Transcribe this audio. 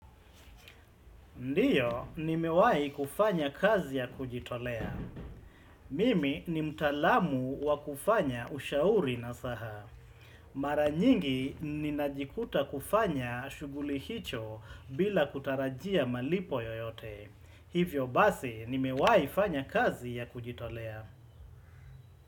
Ndiyo, nimewahi kufanya kazi ya kujitolea. Mimi ni mtaalamu wa kufanya ushauri na saha. Mara nyingi ninajikuta kufanya shughuli hicho bila kutarajia malipo yoyote. Hivyo basi, nimewahi fanya kazi ya kujitolea.